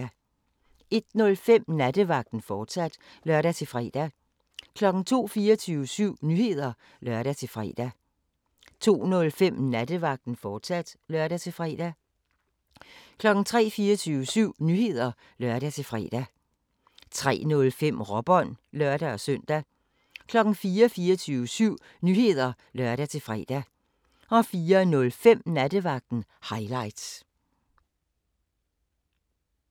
01:05: Nattevagten, fortsat (lør-fre) 02:00: 24syv Nyheder (lør-fre) 02:05: Nattevagten, fortsat (lør-fre) 03:00: 24syv Nyheder (lør-fre) 03:05: Råbånd (lør-søn) 04:00: 24syv Nyheder (lør-fre) 04:05: Nattevagten – highlights